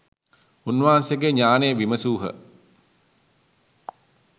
උන්වහන්සේගේ ඥාණය විමසූහ.